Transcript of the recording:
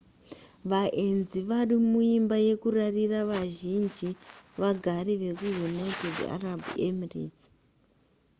vaenzi varimuimba yekurarira vazhinji vagari vekuunited arab emirates